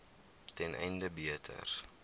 ten einde beter